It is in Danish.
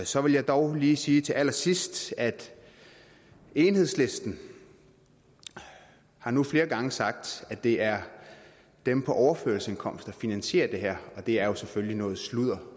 så vil jeg dog lige sige til allersidst at enhedslisten nu flere gange har sagt at det er dem på overførselsindkomst der finansierer det her og det er jo selvfølgelig noget sludder